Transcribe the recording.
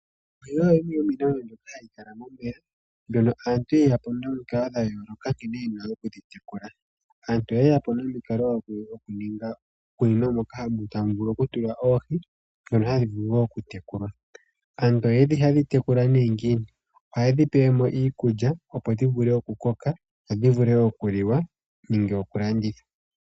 Ohi oyo yimwe yomiinamwenyo mbyoka hayi kala momeya, mbyono aantu ye yapo nomikalo dha yooloka nkene yena okudhi tekula. Aantu oye yapo nomikalo odhindji nkene yena oku ninga uundama moka taya tula oohi ndhono tadhi vulu oku tekulwa. Aantu oha yedhi tekula ne ngiini? Ohaye dhi pele mo iikulya, opo dhi vule okuliwa dhi koke dhi liwe nenge dhi landithwe.